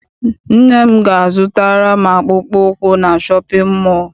Nne m ga a zụtara m akpụkpọ ụkwụ na shọpịn mọọ.